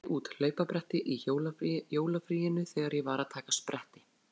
Ég brenndi út hlaupabretti í jólafríinu þegar ég var að taka spretti.